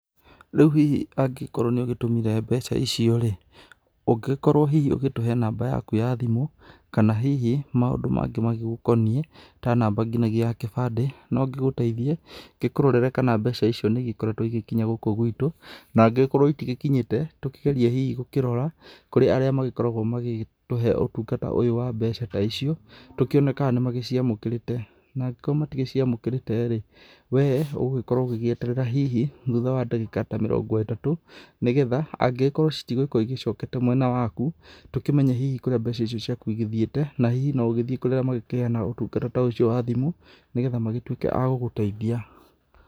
Rĩu hihi angĩkorwo nĩ ũgĩtũmire mbeca icio-rĩ, ũngĩkorwo hihi ũgĩtũhe namba yaku ya thimũ, kana hihi maũndũ mangĩ magĩgũkoniĩ, ta namba ngĩnagia ya gĩbande, no ngĩgũteithie ngĩkũrorere kana mbeca icio nĩ igĩkoretwo igĩgĩkinya gũkũ gwĩtũ, na angĩgĩkorwo itigĩkinyĩte, tũkĩgeria hihi gũkĩrora kũrĩ arĩa magĩkoragwo magĩtũhe ũtungata ũyũ wa mbeca ta icio, tũkĩone kana nĩ magĩciamũkĩrĩte, na angĩkorwo matigĩciamũkĩrĩte-rĩ, we ũgũgĩkorwo ũgĩgĩeterera hihi thutha wa ndagĩka ta mĩrongo ĩtatũ, nĩgetha angĩgĩkorwo citigũgĩkorwo icokete mwena waku, tũkĩmenye hihi kũrĩa mbeca icio ciaku igĩthiĩte, na hihi no ũgĩthiĩ kũrĩarĩa magĩkĩheanaga ũtungata ta ũcio wa thimũ, nĩgetha magĩgĩtuĩke agũgũteithia.